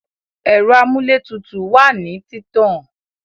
Ẹ̀rọ amúlétutù wá nìí títàn